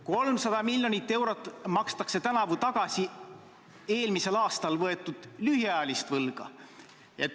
300 miljoni euro jagu makstakse tänavu tagasi eelmisel aastal võetud lühiajalist võlga.